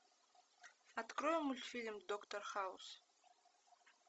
открой мультфильм доктор хаус